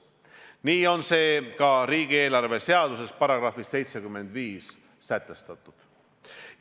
Nii on see ka riigieelarve seaduse §-s 75 sätestatud.